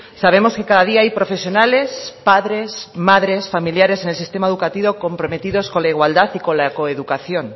sabemos que cada día hay profesionales padres madres familiares en el sistema educativo comprometidos con la igualdad y con la coeducación